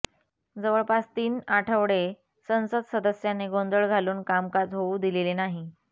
जवळपास तीन आठवडे संसद सदस्यांनी गोंधळ घालून कामकाज होऊ दिलेले नाही